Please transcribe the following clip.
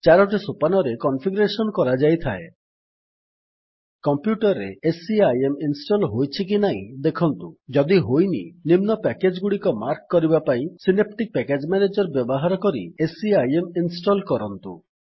ଚାରୋଟି ସୋପାନରେ କନଫିଗରେଶନ୍ କରାଯାଇଥାଏ କମ୍ପ୍ୟୁଟର୍ ରେ ସିଆଇଏମ୍ ଇନଷ୍ଟଲ୍ ହୋଇଛି କି ନାହିଁ ଦେଖନ୍ତୁ ଯଦି ହୋଇନି ନିମ୍ନ ପ୍ୟାକେଜ୍ ଗୁଡିକ ମାର୍କ କରିବା ପାଇଁ ସିନାପ୍ଟିକ୍ ପ୍ୟାକେଜ୍ ମ୍ୟାନେଜର୍ ବ୍ୟବହାର କରି ସିଆଇଏମ୍ ଇନଷ୍ଟଲ୍ କରନ୍ତୁ